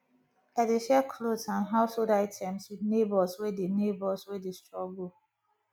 i dey share clothes and household items with neighbors wey dey neighbors wey dey struggle